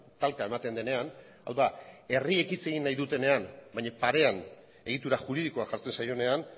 talka ematen denean hau da herriek hitz egin nahi dutenean baina parean egitura juridikoa jartzen zaionean